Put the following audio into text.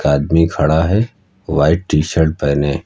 आदमी खड़ा है व्हाइट टि शर्ट पहने।